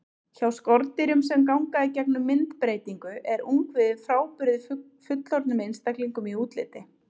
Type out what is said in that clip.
Hjá skordýrum sem ganga í gegnum myndbreytingu er ungviðið frábrugðið fullorðnum einstaklingum í útliti.